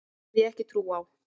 Því hef ég ekki trú á.